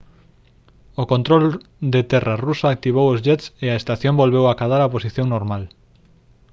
o control de terra ruso activou os jets e a estación volveu acadar a posición normal